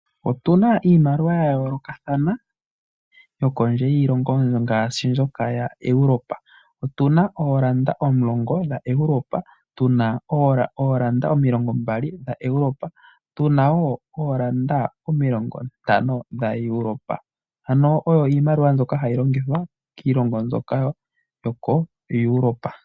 Otuna iimaliwa ya yoolokathana yokondje yiilongo ngaashi mbyoka ya Europa. Otuna oo Euro omilongo dha Europa, tuna oo euro omilombali dha Europa, tuna omilongo ntano dha Europa. Ano oyo iimaliwa mbyoka hayi longithwa kiilongo mbyoka yoko Europa.